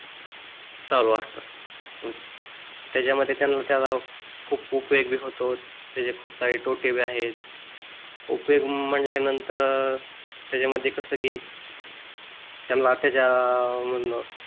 चालू असतात त्याच्यामध्ये त्याचा त्यांना खूप उपयोग बी होतो, त्याचे खूप सारे तोटे पण आहेत. उपयोग म्हणाल्या नंतर त्याच्यामध्ये कस कि त्यांना त्याच्या मधनं,